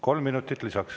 Kolm minutit lisaks.